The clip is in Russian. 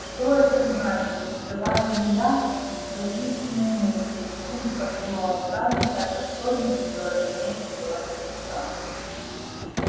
что это значит не скрываю ли я свои истинные мысли в испуге подумала скарлетт так как совесть её разумеется была нечиста